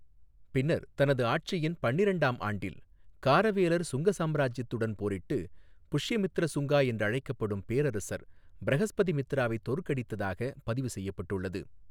பின்னர் தனது ஆட்சியின் பன்னிரெண்டாம் ஆண்டில், காரவேலர் சுங்க சாம்ராஜ்யத்துடன் போரிட்டு, புஷ்யமித்ர சுங்கா என்றழைக்கப்படும் பேரரசர் பிரஹஸ்பதிமித்ராவை தோற்கடித்ததாக பதிவு செய்யப்பட்டுள்ளது.